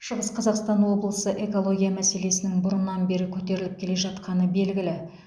шығыс қазақстан облысында экология мәселесінің бұрыннан бері көтеріліп келе жатқаны белгілі